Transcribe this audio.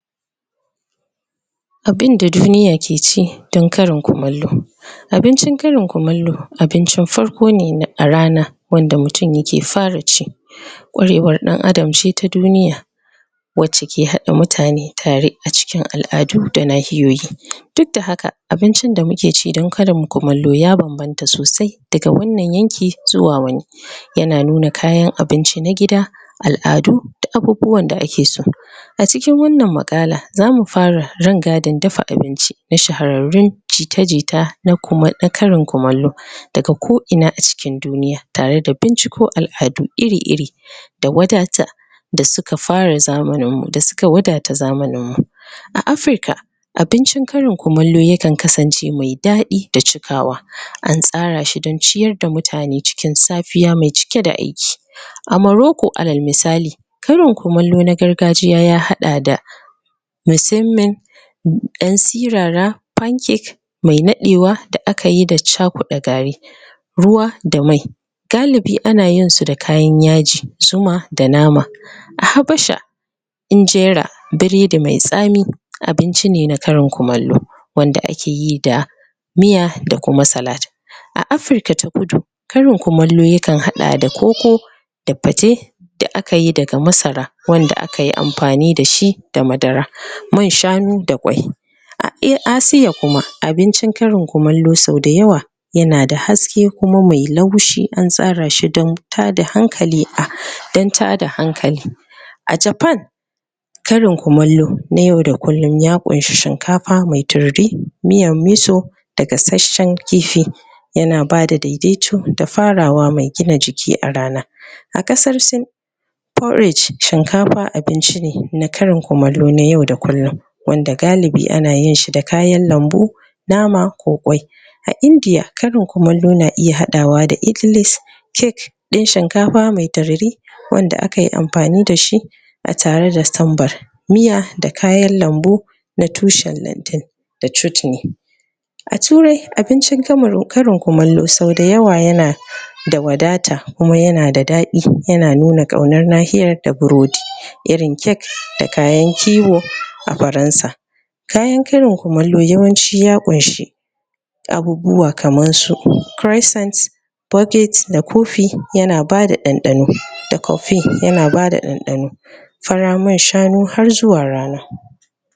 Abinda duniya ke ci don karin kumallo. Abincin karin kumallo abincin farko ne a rana wanda mutum ke fara ci kwarewar dan Adam ce ta duniya wacce ke haɗa mutane tare acikin al'adu da nahiyoyi duk da haka abincin da muke ci don karin kumallo ya bambamta sosai daga wannan yankin zuwa wani yana nuna kayan abinci na gida al'adu da abubuwan da ake so a cikin wannan muƙala za fara rangadin dafa abinci na shahararrun jita-jita na karin kumallo daga ko ina a cikin duniya tare da binciko al'adu iri-iri da wadata da suka fara zamanin mu, da suka wadata zamanin mu a Afrika abincin karin kumallo yakan kasance mai daɗi da cikawa an tsara shi don ciyar da mutane cikin safiya mai cike da aiki a morocco alal misali, karin kumallo ya haɗa da misimmen ƴan siraran pancake mai naɗewa da aka yi da chakuɗe gari ruwa, da mai. galibi ana yin su da kayan yaji, zuma da nama. A Habasha Ingera, biredi mai tsami abinci ne na karin kumallo wanda akeyi da miya da kuma salad. A AFrika ta kudu, karin kumallo yakan haɗa da koko da fate da akayi daga masara wanda akayi amfani da shi da madara, man shanu da kwai a Asia kuma abincin karin kumallo sau da yawa yanada haske kuma mai laushi an tsara shi don tada hankali a Japan Karin kumallo na yau da kullum ya ƙunshi shinkafa mai tururi, miyan miso da gasasshen kifi yana bada daidaici da farawa mai gina jiki a rana a Kasar Sin Porridge shinkafa abinci ne na karin kumallo na yau da kullum wanda galibi ana yin shi da kayan lambu, nama ko ƙwai A India karin kumallo na iya haɗawa da Idlis cake ɗin shinkafa mai tururi wanda akayi amfani da shi a tare da sambar miya, da kayan lambu na tushen da chutni A turai, abincin karin kumallo sau da yawa yana da wadata kuma yana da daɗi yana nuna ƙaunar nahiyar da burodi irin cake da kayan kiwo a gurin sa kayan karin kumallo yawanci ya ƙunshi abubuwa kamar su crescents baguets da coffee yana bada ɗanɗano, da coffee yana bada ɗanɗano fara man shanu har zuwa rana.